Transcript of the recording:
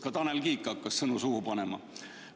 Ka Tanel Kiik hakkas sõnu suhu panema.